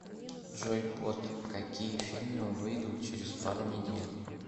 джой бот какие фильмы выидут через пару недель